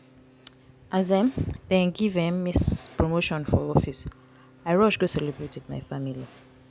as um dem give um me promotion for office i rush go celebrate wit my family.